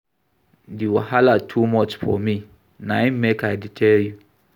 Di wahala too much for me na im make I dey tell you.